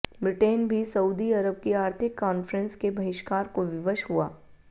Britain भी Saudi Arab की आर्थिक काॅन्फ़्रेंस के बहिष्कार को विवश हुआ